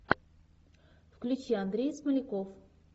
включи андрей смоляков